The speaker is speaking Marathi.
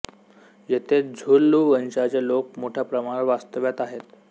येथे झुलू वंशाचे लोक मोठ्या प्रमाणावर वास्तव्यास आहेत